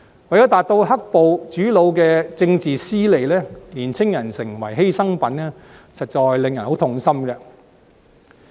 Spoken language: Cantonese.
為了達到"黑暴"主腦的政治私利，年青人成為犧牲品，實在令人痛心。